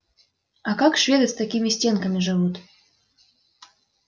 а как шведы с такими стенками живут